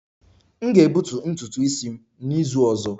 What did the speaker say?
M ga-egbutu ntutu isi m n'izu ọzọ